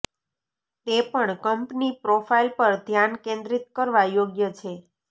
તે પણ company profile પર ધ્યાન કેન્દ્રિત કરવા યોગ્ય છે